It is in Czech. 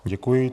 Děkuji.